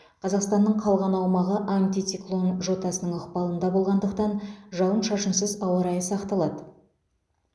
қазақстанның калған аумағы антициклон жотасының ықпалында болғандықтан жауын шашынсыз ауа райы сақталады